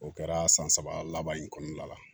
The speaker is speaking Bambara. O kɛra san saba laban in kɔnɔna la